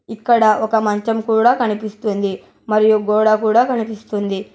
ఇక్కడ ఒక మంచం కూడా కనిపిస్తుంది మరియు గోడ కూడా కనిపిస్తుంది.